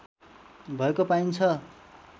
भएको पाइन्छ